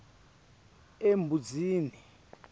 embuzini